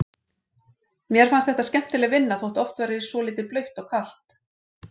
Mér fannst þetta skemmtileg vinna þótt oft væri svolítið blautt og kalt.